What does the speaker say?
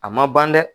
A ma ban dɛ